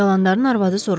Dalandarın arvadı soruştu.